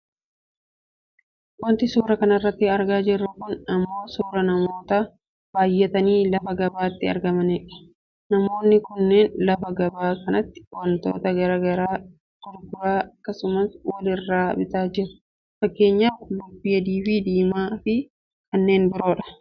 Wanti suuraa kanarratti argaa jirru kun ammoo suuraa namoota baayyatanii lafa gabaatti argananidha. Namoonni kunneen lafa gabaa kanatti wantoota gara garaa gurguraa akkasumas wal irraa bitaa jiru. Fakkeenyaaf qullubbii adiifi diimaa fi kannee biroodha.